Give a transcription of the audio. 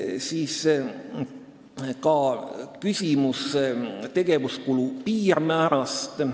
Oli ka küsimus tegevuskulu piirmäärast.